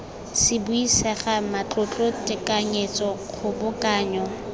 se buisega matlotlo tekanyetso kgobokanyo